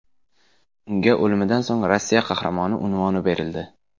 Unga o‘limidan so‘ng Rossiya Qahramoni unvoni berildi.